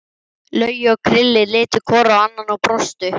Laugi og Krilli litu hvor á annan og brostu.